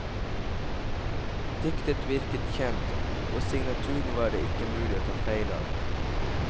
Diktet virket kjent, og signaturen var det ikke mulig å ta feil av.